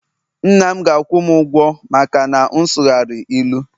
nna'm ga akwu'm ugwo maka na m sughari ilu